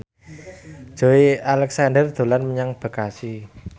Joey Alexander dolan menyang Bekasi